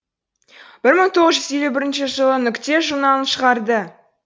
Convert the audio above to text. бір мың тоғыз жүз елу бірінші жылы нүкте журналын шығарды